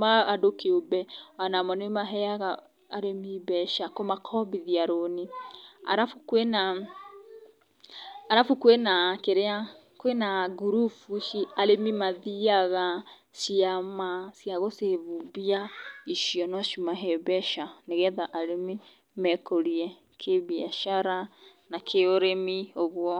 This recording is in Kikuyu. ma andũ kĩũmbe ona mo nĩ maheaga arĩmi mbeca, kũmakombithia loan, arabu kwĩ na, arabu kwĩ na kĩrĩa, kwĩ na ngurubu ici arĩmi mathiaga, ciama cia gũ- save mbia, icio no cimahe mbeca, nĩgetha arĩmi mekũrie kĩmbiacara na kĩũrĩmi, ũguo.